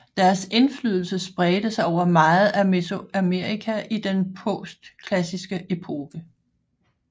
Deres indflydelse spredte sig over meget af Mesoamerika i den postklassiske epoke